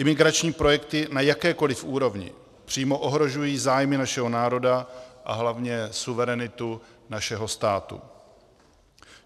Imigrační projekty na jakékoliv úrovni přímo ohrožují zájmy našeho národa a hlavně suverenitu našeho státu.